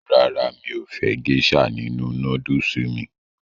Rárá, mi ò fẹ́ gésà nínu nódùsù mí